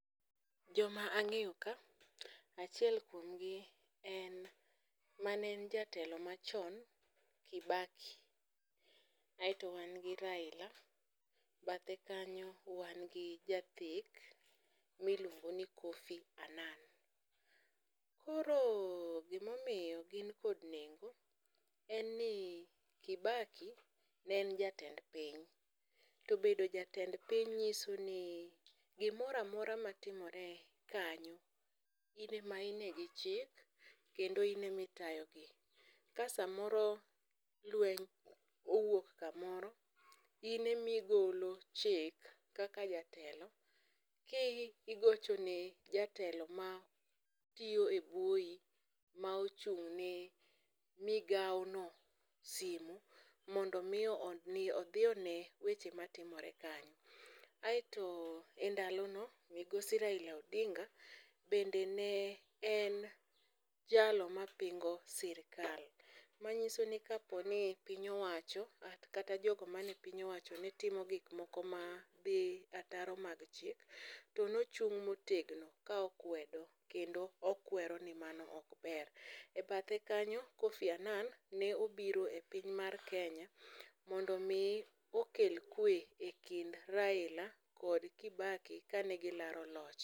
Joma ang'eyo ka, achiel kuom gi en mane en jatelo machon Kibaki, aeto wan gi raila. Bathe kanyo wan gi jathek, miluongo ni Kofi Anan. Koro gimomiyo gin kod nengo en ni Kibaki ne en jatend piny, to bedo jatend piny ng'iso ni gimora mora ma timore kanyo in ema ine gi chik kendo in emitayo gi. Ka samoro lweny owuok kamoro, in emigolo chik kaka jatelo, ki igocho ne jatelo ma tiyo e buoyi ma ochung' ne migao no simu. Mondo mi odhi one weche matimore kanyo. Aeto e ndalo no migosi raila Odinga bende ne en jalo ma pingo sirikal, manyiso ni kaponi piny owacho kata jok mane piny owacho ne timo gik moko ma dhi ataro mag chik, to nochung' motegno ka okwedo. Kendo okwero mi mano ok ber. E bathe kanyo Kofi Anan ne obiro e piny mar Kenya, mondo mi okel kwe e kind raila kod Kibaki kane gilaro loch.